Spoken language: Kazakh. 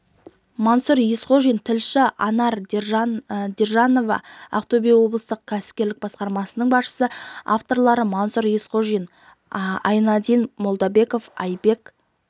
мансұр есқожин тілші анар даржанова ақтөбе облыстық кәсіпкерлік басқармасының басшысы авторлары мансұр есқожин айнадин молдабеков айбек